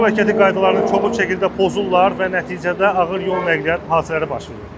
Yol hərəkəti qaydalarını kobud şəkildə pozurlar və nəticədə ağır yol nəqliyyat hadisələri baş verir.